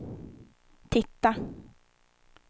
titta